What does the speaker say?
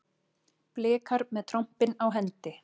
Blikar með trompin á hendi